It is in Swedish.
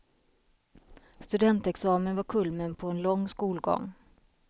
Studentexamen var kulmen på en lång skolgång.